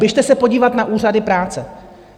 Běžte se podívat na úřady práce.